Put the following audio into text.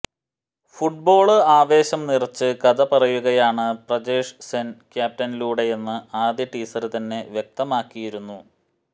football ആവേശം നിറച്ച് കഥ പറയുകയാണ് പ്രജേഷ് സെന് ക്യാപ്റ്റനിലൂടെയെന്ന് ആദ്യ ടീസര് തന്നെ വ്യക്തമാക്കിയിരുന്നു